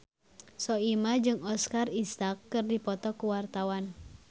Soimah jeung Oscar Isaac keur dipoto ku wartawan